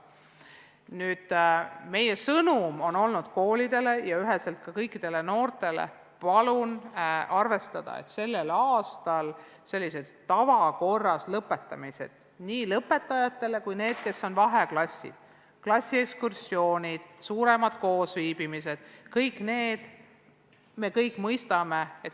Nüüd, meie sõnum koolidele ja kõikidele noortele on olnud selline: palun arvestada, et sel aastal sellised tavakorras lõpetamised – nii lõpetajatele kui ka neile, kes on vaheklassid –, klassiekskursioonid, suuremad koosviibimised ei ole soovitatavad.